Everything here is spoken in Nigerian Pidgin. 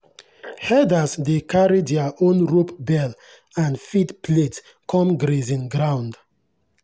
herders dey carry their own rope bell and feed plate come grazing ground.